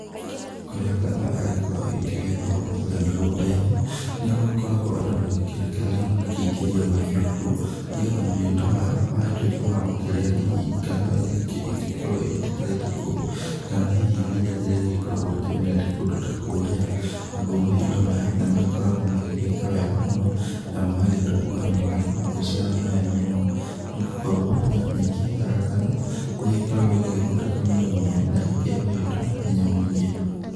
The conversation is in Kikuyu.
Kũrĩa ngano yagĩkorwo ĩgĩkĩgethwo kũrĩa mĩgũnda-inĩ, nĩ gũgĩkoragwo andũ magakĩrekererio magakĩingĩria mahiũ kuo, nĩgetha mahiũ ta maya magagĩtuĩka ma gũkĩrĩa hihi ngano ĩrĩa ĩngĩ ĩngĩgĩkorwo ĩgĩtigarĩte kou, kana hihi ria rĩrĩa rĩgĩkoragwo rĩkĩmerete kũndũ ta kũrĩa, naguo mahiũ ta maya nĩ magĩkoragwo magĩgĩka wega mũno, na magagĩtunguha na magagĩkorwo magĩciarana wega mũno, nĩ gũkorwo nyeki ĩyo ya ngano, nĩ ĩgĩkoragwo ĩgĩgĩthondeka mwĩrĩ mũno na ĩgakĩhe mahiũ ta maya hinya mũingĩ.